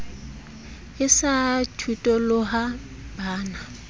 e sa phutoloha ba na